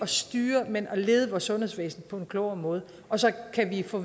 styre men at lede vores sundhedsvæsen på en klogere måde og så kan vi få